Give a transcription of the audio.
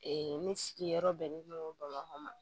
ne sigiyɔrɔ bɛnnen don bamakɔ ma